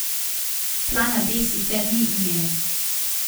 Plana B sicer ni imel.